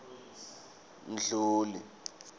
mdluli